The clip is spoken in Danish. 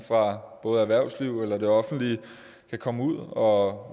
både erhvervsliv eller det offentlige kan komme ud og